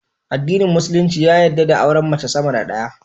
Adinin musulunci ya yadda da auren mace sama da daya